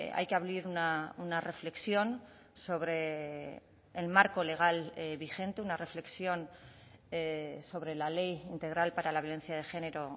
hay que abrir una reflexión sobre el marco legal vigente una reflexión sobre la ley integral para la violencia de género